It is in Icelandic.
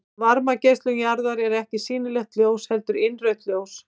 Varmageislun jarðarinnar er ekki sýnilegt ljós heldur innrautt ljós.